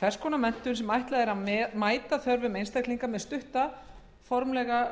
hvers konar menntun sem ætlað er að mæta þörfum einstaklinga með stutta formlega